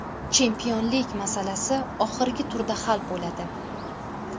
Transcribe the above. Chempionlik masalasi oxirgi turda hal bo‘ladi.